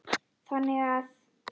þannig að